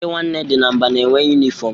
Ndị Nwanne dị na Mba na-enwe yunịform.